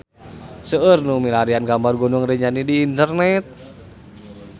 Seueur nu milarian gambar Gunung Rinjani di internet